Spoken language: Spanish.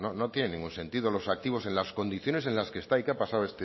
no tiene ningún sentido los activos en las condiciones en las que está y que ha pasado